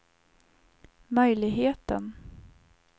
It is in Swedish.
möjligheten